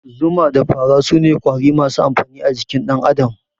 Zuma da fara sune Ƙwari masu amfani a jikin dan Adam